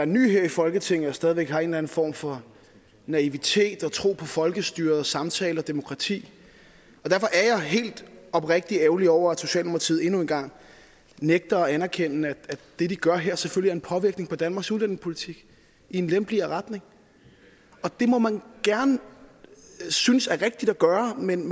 ny her i folketinget og stadig væk har en eller en form for naivitet og tro på folkestyret samtale og demokrati derfor er jeg helt oprigtigt ærgerlig over at socialdemokratiet endnu en gang nægter at anerkende at det de gør her selvfølgelig påvirker danmarks udlændingepolitik i en lempeligere retning og det må man gerne synes er rigtigt at gøre men